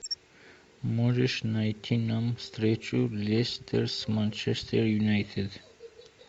можешь найти нам встречу лестер с манчестер юнайтед